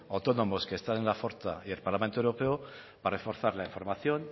autónomos que están en la forta y el parlamento europeo para reforzar la información